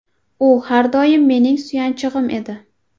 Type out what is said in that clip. U har doim mening suyanchig‘im edi.